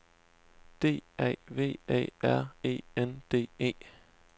D A V Æ R E N D E